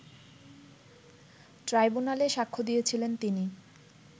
ট্রাইব্যুনালে সাক্ষ্য দিয়েছিলেন তিনি